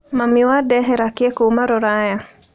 Mami wandehera kĩ kũma rũraya?